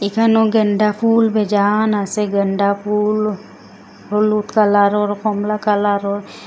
এখানো গ্যান্দা ফুল বেজান আসে গ্যান্ডা ফুল হলুদ কালারোর কমলা কালারোর ।